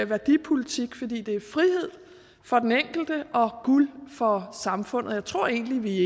værdipolitik fordi det er frihed for den enkelte og guld for samfundet jeg tror egentlig